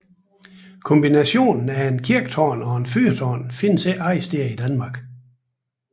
Kombinationen af et kirketårn og et fyrtårn findes ikke andre steder i Danmark